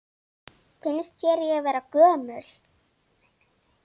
Finnst þér ég vera gömul?